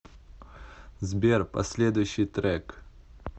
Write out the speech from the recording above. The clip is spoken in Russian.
сбер последующий трек